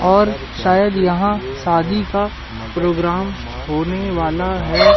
और शायद यहां सादी का प्रोग्राम होने वाला है।